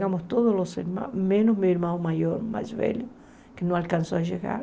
Chegamos todos os irmãos, menos meu irmão maior, mais velho, que não alcançou a chegar.